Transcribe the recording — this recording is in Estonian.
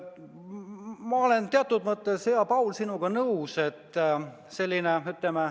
Ma olen teatud mõttes, hea Paul, sinuga nõus.